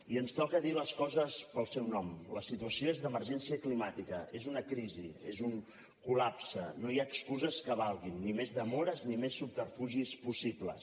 i ens toca dir les coses pel seu nom la situació és d’emergència climàtica és una crisi és un col·lapse no hi ha excuses que valguin ni més demores ni més subterfugis possibles